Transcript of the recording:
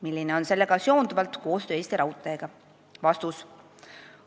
Milline on sellega seonduvalt koostöö Eesti Raudteega?